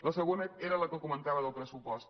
la segona era la que comentava del pressupost